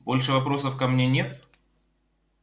больше вопросов ко мне нет